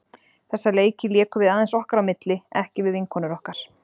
Þessa leiki lékum við aðeins okkar á milli, ekki við vinkonur okkar.